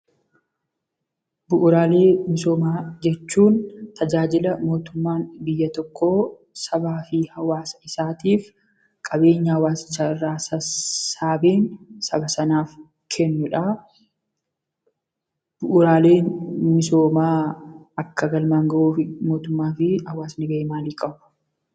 Bu'uuraalee misoomaa jechuun tajaajila mootummaan biyya tokkoo biyyaa fi Saba tokkoof qabeenya hawwaasicha irraa sassaabuun saba sanaaf kennuu dha. Bu'uuraalee misoomaa galmaan ga'uuf sabni ga'ee maalii ba'achuu qaba?